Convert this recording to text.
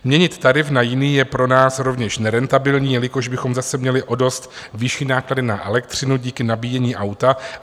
Měnit tarif na jiný je pro nás rovněž nerentabilní, jelikož bychom zase měli o dost vyšší náklady na elektřinu díky nabíjení auta.